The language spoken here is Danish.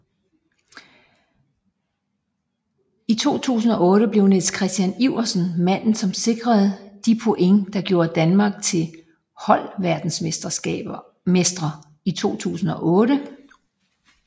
I 2008 blev Niels Kristian Iversen manden som sikrede de point der gjorde Danmark til holdverdensmestre 2008